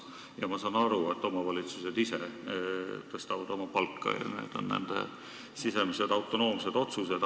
Ja ma saan aru, et omavalitsused tõstavad ise oma palkasid – need on nende sisemised autonoomsed otsused.